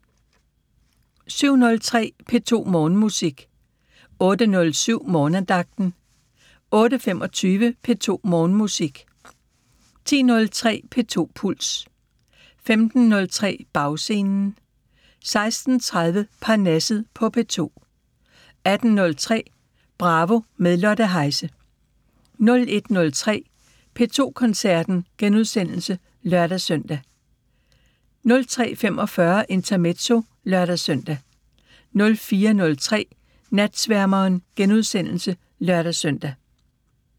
07:03: P2 Morgenmusik 08:07: Morgenandagten 08:25: P2 Morgenmusik 10:03: P2 Puls 15:03: Bagscenen 16:30: Parnasset på P2 18:03: Bravo – med Lotte Heise 01:03: P2 Koncerten *(lør-søn) 03:45: Intermezzo (lør-søn) 04:03: Natsværmeren *(lør-søn)